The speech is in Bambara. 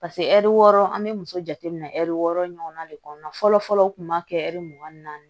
Paseke ɛri wɔɔrɔ an bɛ muso jateminɛ ɛri wɔɔrɔ ɲɔgɔnna de kɔnɔna fɔlɔ fɔlɔ o tun b'a kɛ ɛri mugan ni naani